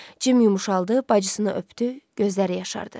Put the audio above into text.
Cim yumşaldı, bacısını öpdü, gözləri yaşardı.